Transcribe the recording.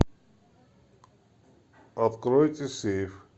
откройте сейф